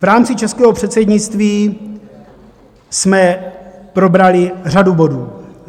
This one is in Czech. V rámci českého předsednictví jsme probrali řadu bodů.